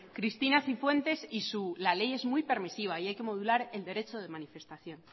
cristina cifuentes y su la ley es muy permisiva y hay que modular el derecho de manifestación